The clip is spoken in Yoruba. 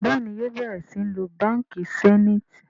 Béèni yóò bẹrẹ sìn ló bánkì Zenith.